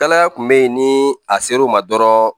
Dala kun be yen ni a ser'o ma dɔrɔn